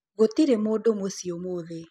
Gũtĩrĩ mũndũ mũcĩĩ ũmũthĩ